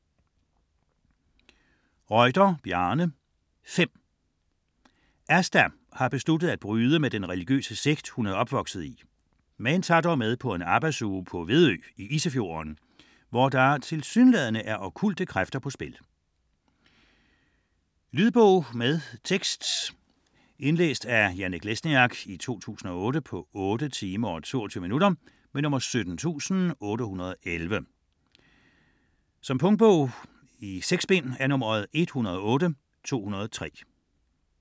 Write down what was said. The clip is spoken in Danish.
Reuter, Bjarne: Fem Asta har besluttet at bryde med den religiøse sekt, hun er opvokset i, men tager dog med på en arbejdsuge på Vedø i Isefjorden, hvor der tilsyneladende er okkulte kræfter på spil. Lydbog med tekst 17811 Indlæst af Janek Lesniak, 2008. Spilletid: 8 timer, 22 minutter. Punktbog 108203 2008. 6 bind.